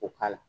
O k'a la